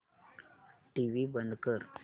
TV बंद कर